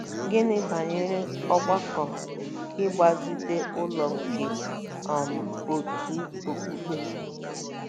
Gịnị banyere ọgbakọ ịgbazite ụlọ nke um òtù okpukpe?